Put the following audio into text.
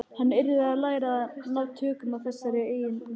Hann yrði að læra að ná tökum á þessari eigingirni.